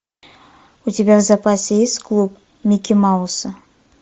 у тебя в запасе есть клуб микки мауса